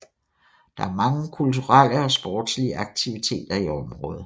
Der er mange kulturelle og sportslige aktiviteter i området